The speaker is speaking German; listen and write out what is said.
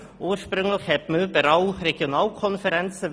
Ursprünglich wollte man überall Regionalkonferenzen.